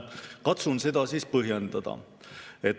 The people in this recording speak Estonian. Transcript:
Katsun seda siis põhjendada.